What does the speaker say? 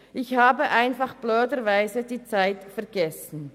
Ich habe aber dummerweise die Zeit vergessen.